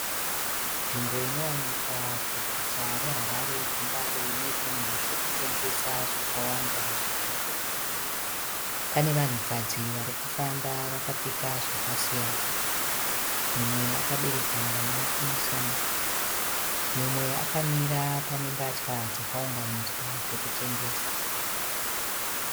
Nzvimbo inowanikwa muguta re Harare ku Mbare ine zvinhu zvekutengesa zvakawanda zviripo. Pane vanhukadzi varikufamba vakapfeka zvakasiyana . Mumwe akabereka mwana kumusana, umwe akamira pane mbatya dzakaungaunganidzwa zvekutengesa.